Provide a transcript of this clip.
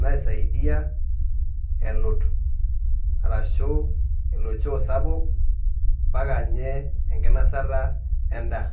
naisaidia elut ashu elo choo sapuk ambaka nye enkinasata endaa.